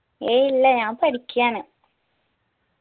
എയ്യ് ഇല്ല ഞാൻ പഠിക്ക്യാണ്